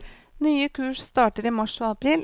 Nye kurs starter i mars og april.